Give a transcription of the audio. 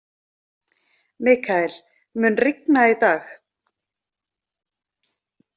Mikael, mun rigna í dag?